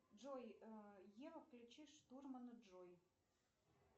джой ева включи штурмана джой